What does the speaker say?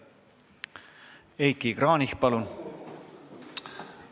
Heiki Kranich, palun!